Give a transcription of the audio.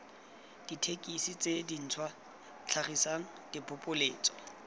dithekesi tse dintšhwa tlhagisang diphopoletso